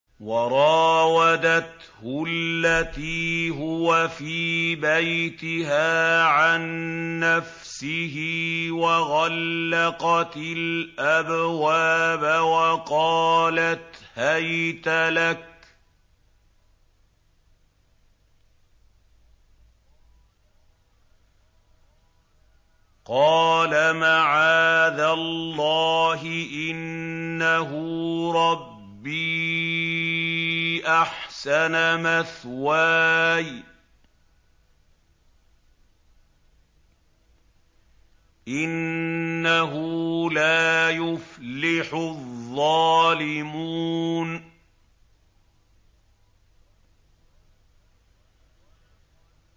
وَرَاوَدَتْهُ الَّتِي هُوَ فِي بَيْتِهَا عَن نَّفْسِهِ وَغَلَّقَتِ الْأَبْوَابَ وَقَالَتْ هَيْتَ لَكَ ۚ قَالَ مَعَاذَ اللَّهِ ۖ إِنَّهُ رَبِّي أَحْسَنَ مَثْوَايَ ۖ إِنَّهُ لَا يُفْلِحُ الظَّالِمُونَ